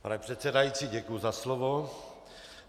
Pane předsedající, děkuji za slovo.